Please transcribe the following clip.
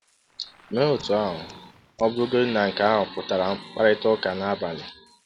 Mee otú ahụ ọ bụrụgodị na nke ahụ pụtara mkparịta ụka n’abalị.